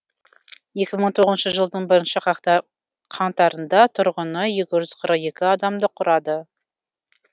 екі мың тоғызыншы жылдың бірінші қаңтарында тұрғыны екі жүз қырық екі адамды құрады